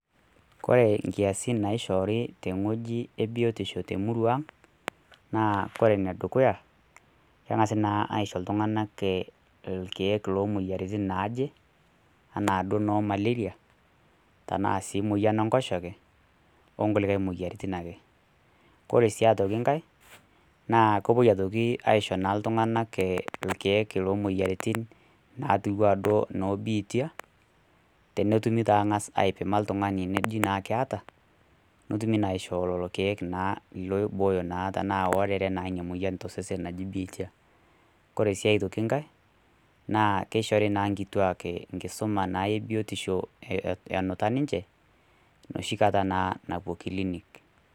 Kore inkiasin naishoori te ewueji e biotisho te emurua aang' naa kore ene dukuya, keng'as naa aisho iltung'ana ilkeek loo moyiaritin naaje, anaa duo noo malaria, tanaa sii moyian le enkoshoke, tanaa sii nkulikai moyiaritin ake. Kore sii aitoki nkai, naa kepuoi aitoki aishoo naa iltung'ana ilkeek loo moyiaritin, natiu anaa duo noo biitia, tenetumi naa ng'as aipima oltung'anani nejii naa ekeata, netumi naa loiibooyo naa tanaa eata naa ninye tosesen ina moyian naji biitia. Kore sii aitoki nkai, keishori naa nkituak enkisuma naa e biotisho enuta ninche, noshi kata naa napuo kilinik.